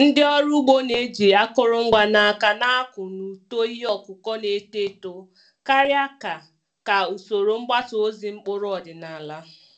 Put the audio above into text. Ndị ọrụ ugbo na-eji akụrụngwa n’aka na-akọ na uto ihe ọkụkụ na-eto eto karịa ka ka usoro mgbasa ozi mkpụrụ ọdịnala.